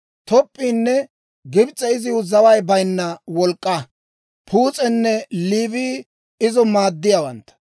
Top'p'iinne Gibs'e iziw zaway bayinna wolk'k'aa; Puus'enne Liibii izo maaddiyaawantta.